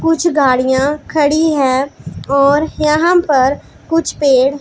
कुछ गाड़ियां खड़ी हैं और यहां पर कुछ पेड़--